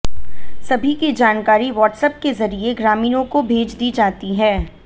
सभी की जानकारी वाट्सएप के जरिए ग्रामीणों को भेज दी जाती है